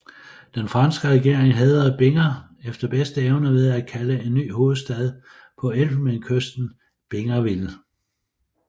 Den franske regering hædrede Binger efter bedste evne ved at kalde en ny hovedstad på Elfenbenskysten Bingerville